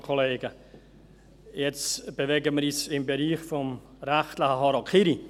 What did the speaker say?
Jetzt bewegen wir uns im Bereich des rechtlichen Harakiris.